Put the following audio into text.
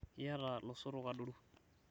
iyata losotok adoru